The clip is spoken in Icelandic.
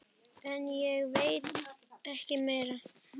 En ég veit ekki meir.